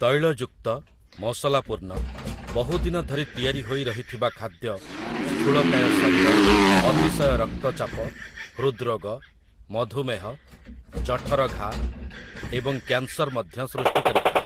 ତୈଳଯୁକ୍ତ, ମସଲାପୂର୍ଣ୍ଣ, ବହୁଦିନ ଧରି ତିଆରି ହୋଇ ରହିଥିବା ଖାଦ୍ୟ ସ୍ଥୁଳକାୟ ଶରୀର, ଅତିଶୟ ରକ୍ତଚାପ, ହୃଦ୍ ରୋଗ, ମଧୁମେହ, ଜଠର ଘା ଏବଂ କ୍ୟାନସର ମଧ୍ୟ ସୃଷ୍ଟି କରିଥାଏ ।